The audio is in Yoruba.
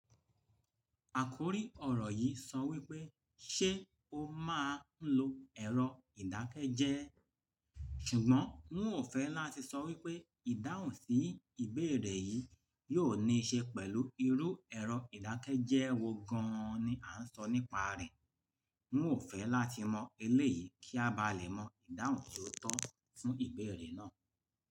Àkòrí ọ̀rọ̀ yìí sọ wípé ṣé o máa ń lo ẹ̀rọ ìdákẹ́jẹ́ẹ́, ṣùgbọ́n wọn ò fẹ́ láti sọ wípé ìdáhùn sí ìbéèrè yìí yóò níí ṣe pẹ̀lú irú ẹ̀rọ ìdákẹ́jẹ́ẹ́ wo gann ni à ń sọ nípa rẹ̀. Wọn ò fẹ́ láti mọ eléyìi kí a bá lè mọ ìdáhùn ti ó tọ́ fún ìbéèrè náà.